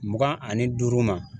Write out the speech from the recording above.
Mugan ani duuru ma